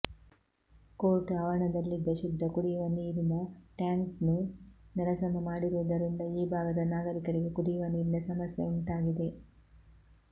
court ಆವರಣದಲ್ಲಿದ್ದ ಶುದ್ಧ ಕುಡಿಯುವ ನೀರಿನ ಟ್ಯಾಂಕ್ನ್ನು ನೆಲಸಮ ಮಾಡಿರುವುದರಿಂದ ಈಭಾಗದ ನಾಗರಿಕರಿಗೆ ಕುಡಿಯುವ ನೀರಿನ ಸಮಸ್ಯೆ ಉಂಟಾಗಿದೆ